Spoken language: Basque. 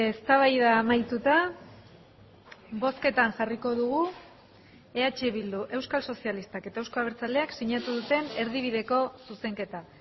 eztabaida amaituta bozketan jarriko dugu eh bildu euskal sozialistak eta euzko abertzaleak sinatu duten erdibideko zuzenketa